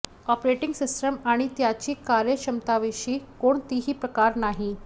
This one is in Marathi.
ऑपरेटिंग सिस्टम आणि त्याची कार्यक्षमतांविषयी कोणतीही तक्रार नाही